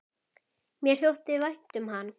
Mér þótti vænt um hann.